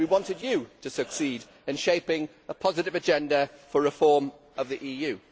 We wanted you to succeed in shaping a positive agenda for reform of the EU.